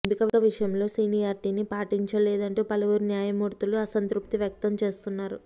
ఎంపిక విషయంలో సీనియార్టినీ పాటించలేదంటూ పలువురు న్యాయమూర్తులు అసంతృప్తి వ్యక్తం చేస్తున్నారు